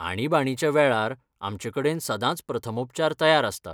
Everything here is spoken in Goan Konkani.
आणीबाणीच्या वेळार आमचे कडेन सदांच प्रथमोपचार तयार आसता.